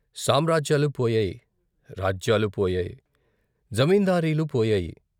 సామ్రాజ్యాలు పోయాయి, రాజ్యాలు పోయాయి ! జమీందారీలు పోయాయి !